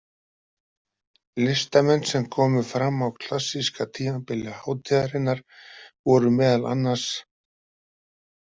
Listamenn sem komu fram á klassíska tímabili hátíðarinnar voru meðal annars